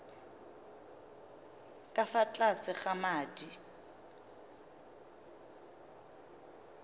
ka fa tlase ga madi